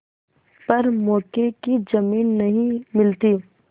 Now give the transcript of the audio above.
पर मौके की जमीन नहीं मिलती